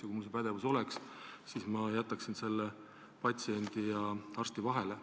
Ja kui mul see pädevus oleks, siis ma jätaksin selle asja patsiendi ja arsti vahele.